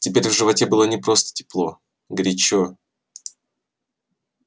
теперь в животе было не просто тепло горячо